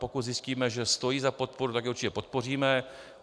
Pokud zjistíme, že stojí za podporu, tak je určitě podpoříme.